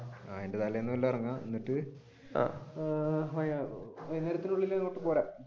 അതിന്റെ തലേന്ന് വെല്ലോം ഇറങ്ങാം എന്നിട്ട് അഹ് വൈകുനേരത്തേക്കുള്ളിൽ ഇങ്ങോട്ട് പോരാം.